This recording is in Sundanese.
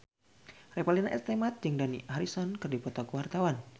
Revalina S. Temat jeung Dani Harrison keur dipoto ku wartawan